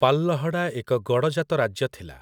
ପାଳଲହଡ଼ା ଏକ ଗଡ଼ଜାତ ରାଜ୍ୟ ଥିଲା ।